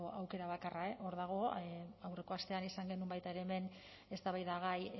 aukera bakarra hor dago aurreko astean izan genuen baita ere hemen eztabaidagai